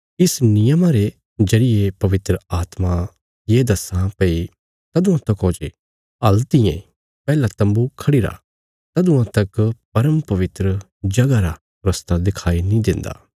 इस नियमा रे जरिये पवित्र आत्मा ये दस्सां भई तदुआं तकौ जे हल्तियें पैहला तम्बू खढ़िरा तदुआं तक परमपवित्र जगह रा रस्ता दिखाई नीं देन्दा